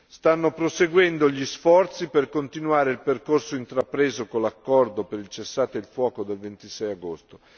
Stanno proseguendo gli sforzi per continuare il percorso intrapreso con l'accordo per il cessate il fuoco del 26 agosto.